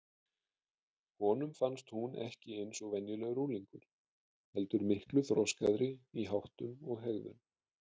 Honum fannst hún ekki eins og venjulegur unglingur heldur miklu þroskaðri í háttum og hegðun.